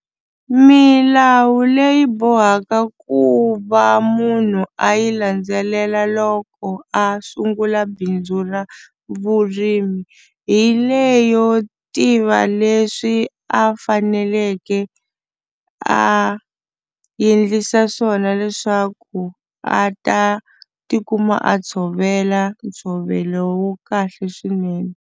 Milawu leyi bohaka ku va munhu a yi landzelela loko a sungula bindzu ra vurimi hi leyo tiva leswi a faneleke a endlisa swona leswaku a ta tikuma a tshovela ntshovelo wa kahle swinene.